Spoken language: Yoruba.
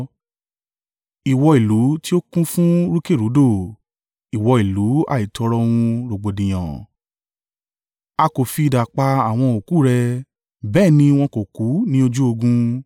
Ìwọ ìlú tí ó kún fún rúkèrúdò, ìwọ ìlú àìtòrò òun rògbòdìyàn a kò fi idà pa àwọn òkú rẹ, bẹ́ẹ̀ ni wọn kò kú ní ojú ogun.